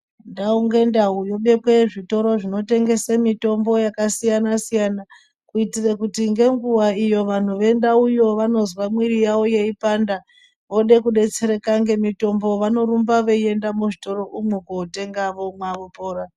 Ndau nge ndau yobekwe zvitoro zvino tengese mitombo yaka siyana siyana kuitire kuti ngenguva iyo vanhu vendau yo vanozwa mwiri yavo yei panda ode kudetsereka nge mitombo vanorumba veyi enda mu zvitoro umwo kotenga vomwa vopora.